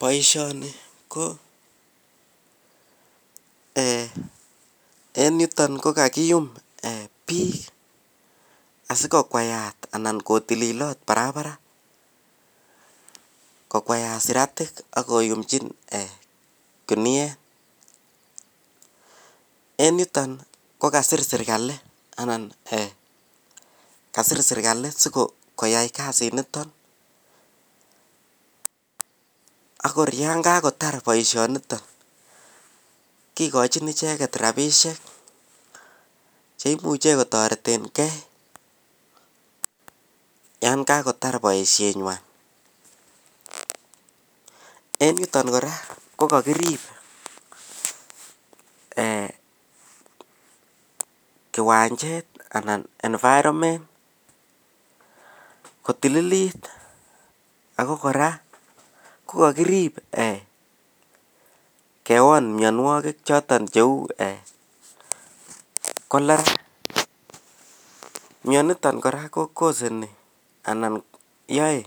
boishoni ko eeh en yuton ko kagiktum biik asikokwayat annakotililot barabar kokwayat siratik ak koyumchi kiniyeet, en niton ko kasiir sirkali anan kasiir sirkali sigoyai kasiit niton agoor yaan kagotar boishoniton, kigochin icheget rabishek cheimuche kotoretengee yan kagotar boishet nywaan, en yuton kora ko kagiriib kiwanchet anan environment kotililit ago kora kogagirib eeh kewoon myonwogik choton cheuuu cholera, myoniton kora ko koseni anan yoe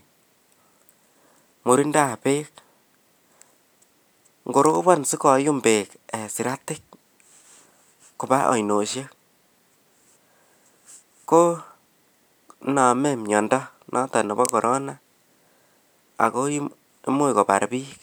murindoab beek, ngorobon sigoyumm beek siratik koba ainosyek koinome myondo noton nebo Corona ago imuch kobaar biik.